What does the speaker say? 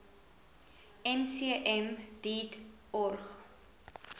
mcm deat org